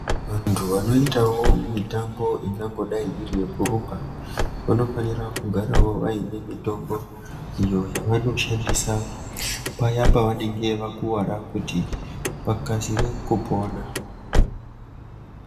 Vantu wanootawo mitambo ingangodai iri yekurumba vanofanirwawo kugara vaine mitombo iyo yawanoshandisa paya pawanenge wakuwara kuti wakasire kupona.